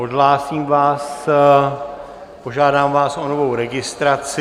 Odhlásím vás, požádám vás o novou registraci.